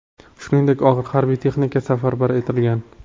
Shuningdek, og‘ir harbiy texnika safarbar etilgan.